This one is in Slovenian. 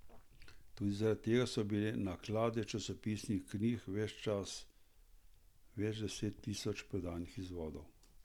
Tudi zaradi tega so bile naklade časopisnih knjig ves čas več deset tisoč prodanih izvodov.